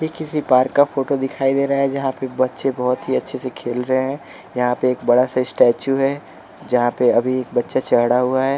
एक किसी पार्क का फोटो दिखाई दे रहा है जहाँ पे बच्चे बहुत ही अच्छे से खेल रहे हैं यहाँ पे एक बड़ा सा स्टैचू है जहाँ पर अभी एक बच्चा चढ़ा हुआ है।